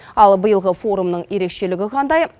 ал биылғы форумның ерекшелігі қандай